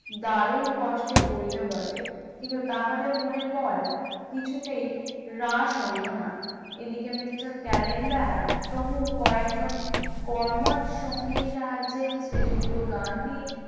দারুণ কষ্টে পড়িল বটে কিন্তু তাহাদের মনের বল কিছুতেই হ্রাস হইল না, এদিকে mister ক্যালেন্ডার প্রমুখ কয়েকজন কর্মঠ সঙ্গীর সাহায্যে শ্রীযুক্ত গান্ধী